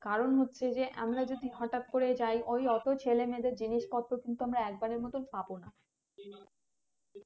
কারণ হচ্ছে যে আমরা যদি হটাৎ করে যাই ওই অত ছেলেমেয়েদের জিনিস পত্র কিন্তু আমরা একবারের মতো পাবো না